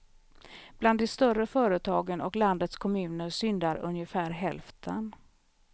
Bland de större företagen och landets kommuner syndar ungefär hälften.